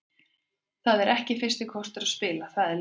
Það er ekki fyrsti kostur að spila, það er ljóst.